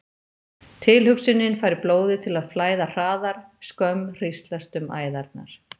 Tilhugsunin fær blóðið til að flæða hraðar, skömm hríslast um æðarnar.